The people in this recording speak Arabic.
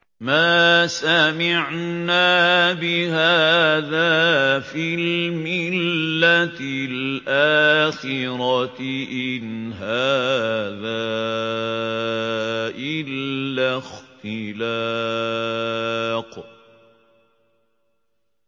مَا سَمِعْنَا بِهَٰذَا فِي الْمِلَّةِ الْآخِرَةِ إِنْ هَٰذَا إِلَّا اخْتِلَاقٌ